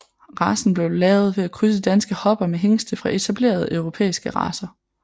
Racen blev lavet ved at krydse danske hopper med hingste fra etablerede europæiske racer